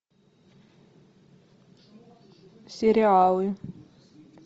сериалы